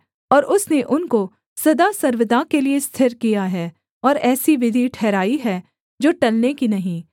और उसने उनको सदा सर्वदा के लिये स्थिर किया है और ऐसी विधि ठहराई है जो टलने की नहीं